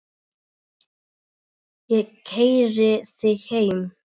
Ég keyri þig heim.